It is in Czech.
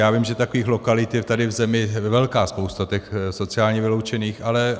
Já vím, že takových lokalit je tady v zemi velká spousta, těch sociálně vyloučených, ale